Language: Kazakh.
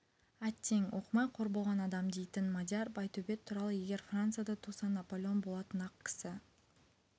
әттең оқымай қор болған адам дейтін мадияр байтөбет туралы егер францияда туса наполеон болатын-ақ кісі